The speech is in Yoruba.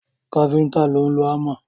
Káfíntà ló ń lọ hámà.